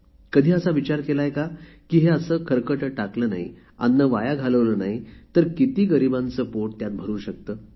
कधी असा विचार केला आहे का की हे असे खरकटे टाकले नाही अन्न वाया घालवले नाही तर किती गरीबांचे पोट त्यात भरू शकते